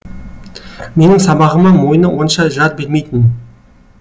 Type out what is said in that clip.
менің сабағыма мойны онша жар бермейтін